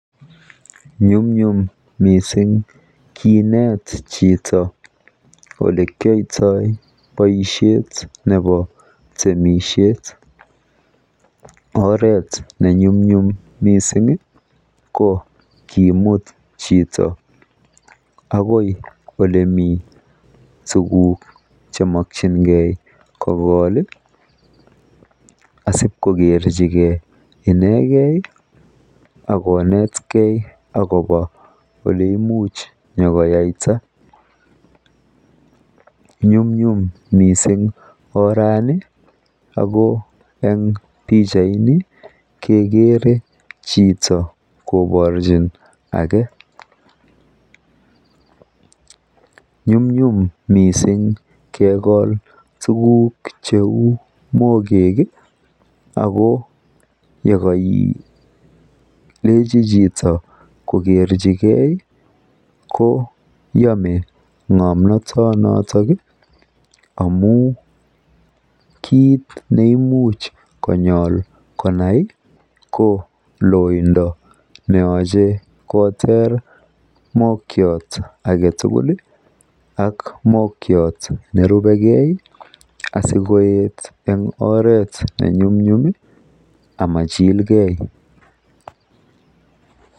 nyumnyum mising kineet chito olekyoitoo boisheet nebo temishet, oreet nenyumnyum mising iih ko kimut chito agoi olemii tuguuk chemokyingee kogool iih asigokerchigee inegei agoneet kee eleimuch nyagoiyaita, nyumnyum mising oraani, ago en pichait ni kegere chito koborchin age [pause}, nyumnyum mising kegool tuguuk cheuu mbogek iih ago yegoilechi chito kogerchigee ko yome ngomnotot noton iih amuun kiit neimuch konyool konai ko loindo neoche kotoor nokyoot agetul iih ak nokyoot nerubegee asigoet en oret nemnyumnyum iih amachilgee.